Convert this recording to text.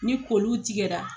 Ni kɔliw tigɛra